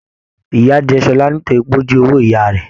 Ìya jẹ Ṣọlá nítorí pé o jí owó ìyá rẹ.